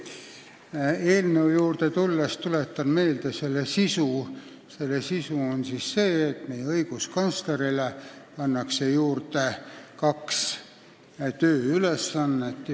Tulles eelnõu juurde tuletan meelde selle sisu: õiguskantslerile pannakse juurde kaks tööülesannet.